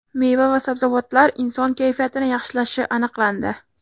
Meva va sabzavotlar inson kayfiyatini yaxshilashi aniqlandi.